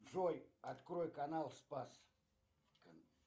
джой открой канал спас